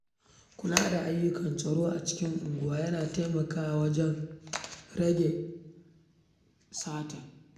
Kula da ayyukan tsaro a cikin unguwa yana taimakawa wajen rage aikata laifuka.